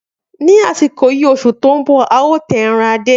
Ni asiko yii ni osu to n bo eran Ade ao ta.